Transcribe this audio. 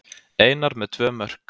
Einar með tvö mörk